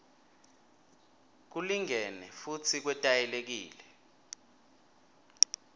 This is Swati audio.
kulingene futsi kwetayelekile